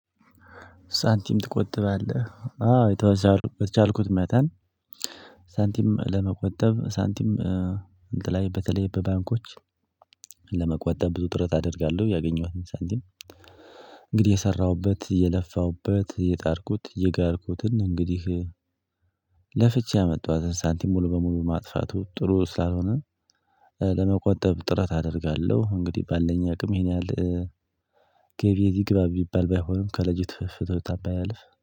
ሳንቲም ትቆጥባለህ? አዎ የተወሰነ በቻልኩት መጠን ሳንቲም ለመቆጠብ ሳንቲም እንትን ላይ በተለይ በባንኮች ለመቆጠብ ብዙ ጥረት አደርጋለሁ ያገኘኋት ሳንቲም። እንግዲህ የሰራሁበት፣ የለፋሁበት የጣርኩት፣ የጋርኩትን እንግዲህ ለፍቼ ያመጣዋትን ሳንቲም ሙሉ በሙሉ ማጥፋቱ ጥሩ ስላልሆነ ለመቆጠብ ጥረት አደርጋለሁ እንግዲህ ባለኝ አቅም ይሄን ያህል። ገቢ እዚህ ግባ ሚባል ባይሆንም ከለት ፍጆታ ባያልፍ